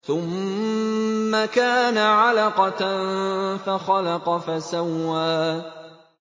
ثُمَّ كَانَ عَلَقَةً فَخَلَقَ فَسَوَّىٰ